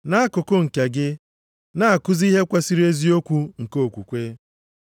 Nʼakụkụ nke gị, na-akụzi ihe kwesiri eziokwu nke okwukwe.